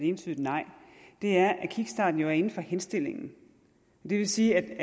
entydigt nej er at kickstarten jo er inden for henstillingen det vil sige